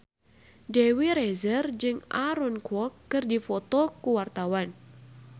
Dewi Rezer jeung Aaron Kwok keur dipoto ku wartawan